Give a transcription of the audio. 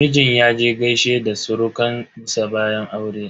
Mijin yaje gaishe da surukan sa bayan aure.